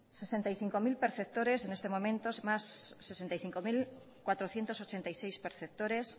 sesenta y cinco mil perceptores en este momento más sesenta y cinco mil cuatrocientos ochenta y seis perceptores